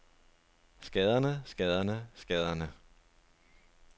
skaderne skaderne skaderne